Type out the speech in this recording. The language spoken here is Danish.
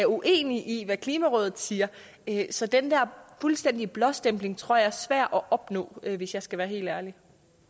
uenige i hvad klimarådet siger så den der fuldstændige blåstempling tror jeg er svær at opnå hvis jeg skal være helt ærlig